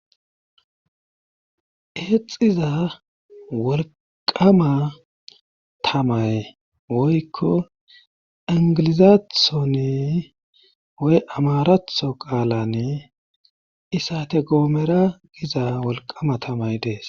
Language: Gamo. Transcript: eexxiza wolqama tamay woykko ingilizaathoni woy amaratho qaalani isate goomera giza wolqama tamay dees